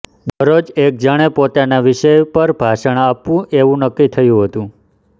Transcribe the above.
દરરોજ એક જણે પોતાના વિષય પર ભાષણ આપવું એવું નક્કી થયું હતું